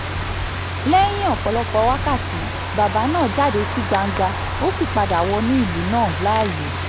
lẹ́yìn ọ̀pọ̀lọpọ̀ wákàtí bàbà náà jáde sí gbangba ó sì padà wọnú ìlú náà láàyè